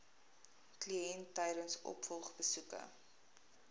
kliënt tydens opvolgbesoeke